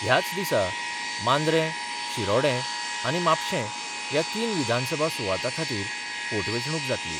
ह्याच दिसा मांद्रे, शिरोडें आनी म्हापशें ह्या तीन विधानसभा सुवाता खातीर पोटवेंचणूक जातली.